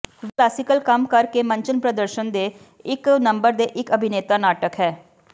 ਵੀ classical ਕੰਮ ਕਰ ਕੇ ਮੰਚਨ ਪ੍ਰਦਰਸ਼ਨ ਦੇ ਇੱਕ ਨੰਬਰ ਦੇ ਇੱਕ ਅਭਿਨੇਤਾ ਨਾਟਕ ਹੈ